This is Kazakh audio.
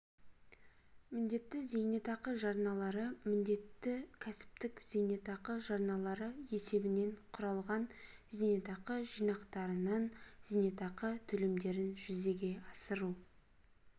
міндетті зейнетақы жарналары міндетті кәсіптік зейнетақы жарналары есебінен құралған зейнетақы жинақтарынан зейнетақы төлемдерін жүзеге асыру